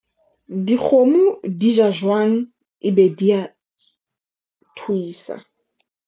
Dikgomo di ja jwang ebe di a thuisa.